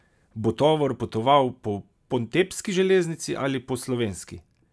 Bo tovor potoval po pontebski železnici ali po slovenski?